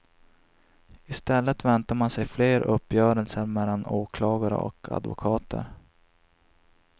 I stället väntar man sig fler uppgörelser mellan åklagare och advokater.